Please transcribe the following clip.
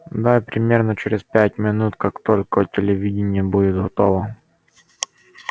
да и примерно через пять минут как только телевидение будет готово